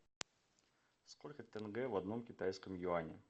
сколько тенге в одном китайском юане